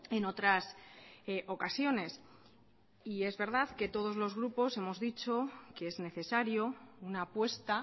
en otras ocasiones y es verdad que todos los grupos hemos dicho que es necesario una apuesta